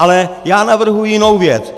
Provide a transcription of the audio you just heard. Ale já navrhuji jinou věc.